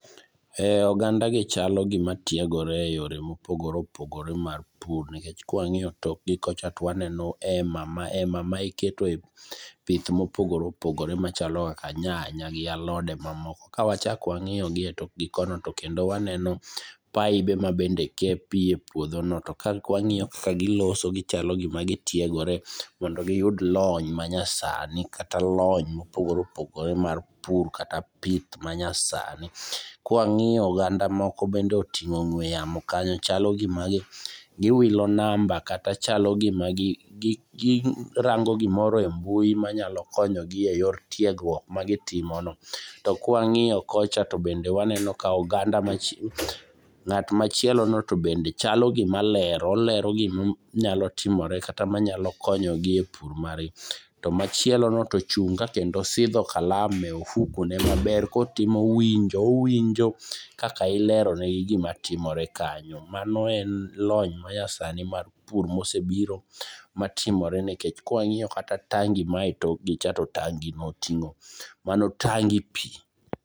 E ogandagi chalo gima tiegore e yore mopogore opogore mar pur, nikech kwang'iyo tokgi kocha to waneno hema mahema maiketo pidh mopogore opogore machalo kaka nyaka nyanya gi alode mamoko. Kawachak wang'iyo gi e tokgi kono, tokendo waneno paibe mabende ke pii e puodhono. To kwang'iyo kaka giloso gichalo gima gitiegore mondo giyud lony manyasani, kata lony mopogore opogore mar pur kata pith manyasani. Kwang'iyo oganda moko bende oting'o ng'we yamo kanyo. Chalo gima giwilo namba kata chalo gima girango gimoro e mbui manyalo konyogi e yor tiegruok magitimono. To kawang'iyo kocha tobende waneno ka oganda machielo, ng'at machielono to bende chalo gima lero. Olero gima nyalo timore kata manyalo konyogi e pur margi. To machielono to ochung' ka kendo osidho kalam e ofukone maber kotimo winjo owinjo kaka ilerone gimatimore kanyo. Mano en lony manyasani mar pur mosebiro matimore, nikech kwang'iyo kata tangi mae tokgi cha to tangino oting'o, mano tangi pii.